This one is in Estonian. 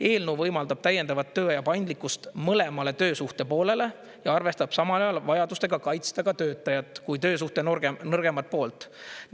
Eelnõu võimaldab täiendavat tööaja paindlikkust mõlemale töösuhte poolele ja arvestab samal ajal vajadustega kaitsta ka töötajat kui töösuhte nõrgemat poolt.